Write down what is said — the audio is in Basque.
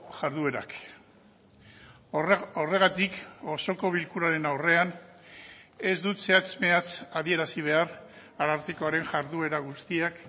jarduerak horregatik osoko bilkuraren aurrean ez dut zehatz mehatz adierazi behar arartekoaren jarduera guztiak